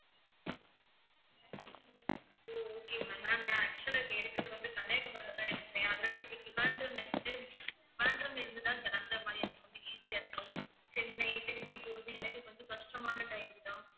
ஓ okay ma'am. ma'am நான் actual ah இப்ப இருக்கிறது வந்து கன்னியாகுமரியில தான் இருக்கிறேன் otherwise திருவனந்தபுரம்ல இருந்து திருவனந்தபுரம்ல இருந்து தான் கிளம்பற மாதிரி இருக்கும் கொஞ்சம் easy யா இருக்கும் சென்னை, திருச்சி போறது எனக்கு கொஞ்சம் கஷ்டமான time தான்